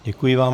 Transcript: Děkuji vám.